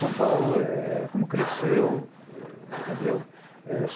São Paulo, eh eh como cresceu, entendeu? É